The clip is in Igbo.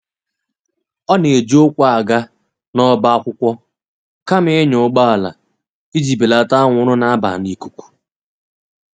ọ na eji ukwu aga na oba akwụkwo kama ịnya ụgbọala iji belata anwụrụ na-aba n'ikụkụ.